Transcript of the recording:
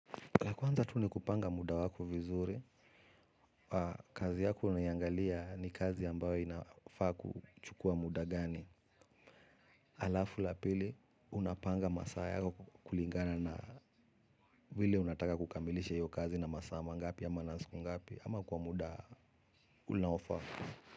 La kuanza tu ni kupanga muda wako vizuri, kazi yako unayangalia ni kazi ambayo inafaa kuchukua muda gani, alafu la pili unapanga masaa yako kulingana na wile unataka kukamilisha iyo kazi na masaa mangapi ama na siku ngapi ama kwa muda unaofaa.